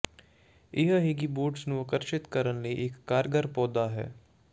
ਇਹ ਹਿੱਿੰਗਬੋਰਡਸ ਨੂੰ ਆਕਰਸ਼ਿਤ ਕਰਨ ਲਈ ਇੱਕ ਕਾਰਗਰ ਪੌਦਾ ਹੈ